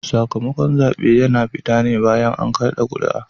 Sakamakon zaɓe yana fita ne bayan an kada kuri'a